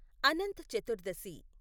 Anant Chaturdashi